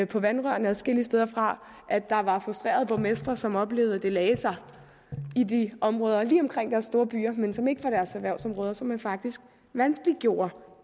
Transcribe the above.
på vandrørene adskillige steder fra at der var frustrerede borgmestre som oplevede at det lagde sig i de områder lige omkring deres store byer som ikke var deres erhvervsområder så man faktisk vanskeliggjorde